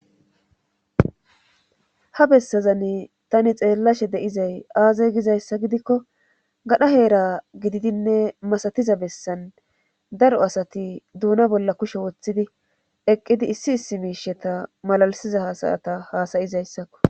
ha bessazani tani xeellashe deizay aaza gizayssa gidikko gadha heera gididinne masatiza bessan daro asati duuna bolla kushe woththidi eqqidi issi issi miisheta malalisiza hasayata haasayizayssakko